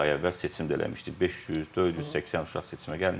Beş yüz, 480 uşaq seçimə gəlmişdi.